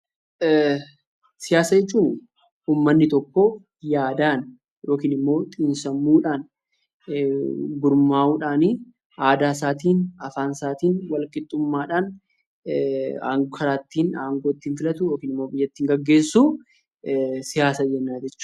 Siyaasa jechuun uummanni tokko yaadaan yookiin immoo xiinsammuudhaan, gurmaa'uudhaani aadaasaatiin, afaansaatiin walqixxummaadhaan karaa ittiin aangoo ittiin filatu yookiin immoo biyya ittiin gaggeessuu siyaasa jenna jechuudha.